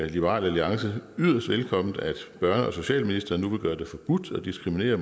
liberal alliance yderst velkomment at børne og socialministeren nu vil gøre det forbudt at diskriminere